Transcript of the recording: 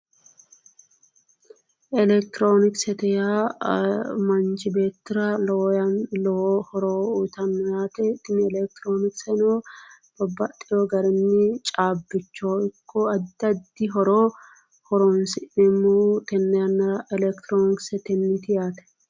Electironiksete yaa manchi beettira lowo horo uyitanno yaate tini electironikseno babbaxxeyo garinni caabbicho ikko addi addi horo horonsi'neemmo tenne yannara electironiksetenniiti yaate